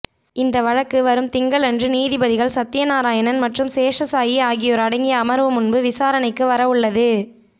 இந்த வழக்கு வரும் திங்களன்று நீதிபதிகள் சத்யநாராயணன் மற்றும் சேஷசாயி ஆகியோர் அடங்கிய அமர்வு முன்பு விசாரணைக்கு வர உள்ளது